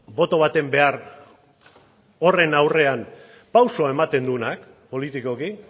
boto baten behar horren aurrean pausua ematen duenak politikoki